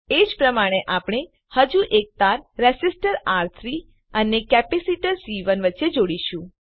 એજ પ્રમાણે આપણે હજુ એક તાર રેસીસ્ટર આર3 અને કેપેસીટર સી1 વચ્ચે જોડીશું